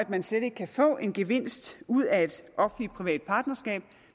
man slet ikke kan få en gevinst ud af et offentlig privat partnerskab og